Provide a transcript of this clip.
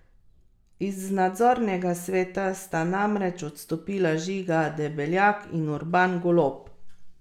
Iz nadzornega svet sta namreč odstopila Žiga Debeljak in Urban Golob.